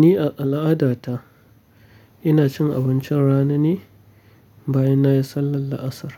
Ni a al'adata ina cin abincin rana ne bayan na yi sallar la'asar,